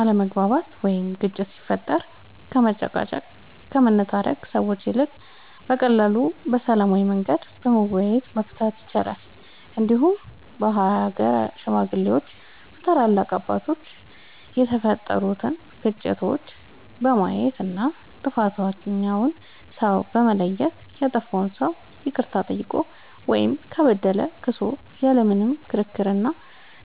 አለመግባባት ወይም ግጭት ሲፈጠር ከመጨቃጨቅ ከመነታረክ ሰዎች ይልቅ በቀላሉ በሰላማዊ መንገድ በመወያየት መፍታት ይቻላል እንዲሁም በሀገር ሽማግሌዎች በታላላቅ አባቶች የተፈጠሩትን ግጭቶች በማየት እና ጥፋተኛውን ሰው በማየት ያጠፋው ሰው ይቅርታ ጠይቆ ወይም ከበደለ ክሶ ያለ ምንም ክርክር እና